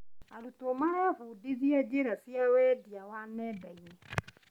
Arutwo marebundithia njĩra cia wendia wa nenda-inĩ.